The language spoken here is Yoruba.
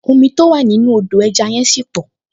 Omi tó wà nínú Odò ẹja yẹn ṣì pọ̀